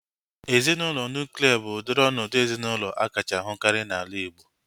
Ezinaụlọ nuklia bụ udiri ọnọdụ ezinaụlọ akacha ahukari n'ala Igbo